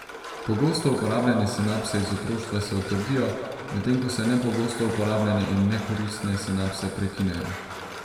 Pogosto uporabljene sinapse iz otroštva se utrdijo, medtem ko se nepogosto uporabljene in nekoristne sinapse prekinejo.